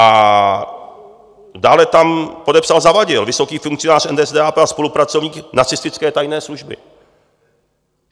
- A dále tam podepsal Zawadil, vysoký funkcionář NSDAP a spolupracovník nacistické tajné služby.